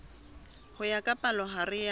ho ya ka palohare ya